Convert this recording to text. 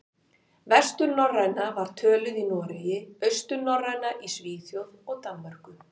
Vesturnorræna var töluð í Noregi, austurnorræna í Svíþjóð og Danmörku.